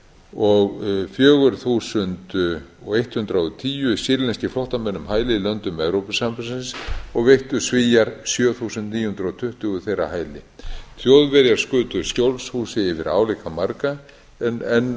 og fjögur þúsund eitt hundrað og tíu sýrlenskir flóttamenn um hæli í löndum evrópusambandsins og veittu svíar sjö þúsund níu hundruð tuttugu þeirra hæli þjóðverjar skutu skjólshúsi yfir álíka marga en